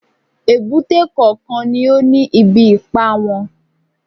Èbúté kọ̀ọ̀kan ni ó ní ibi ipá wọn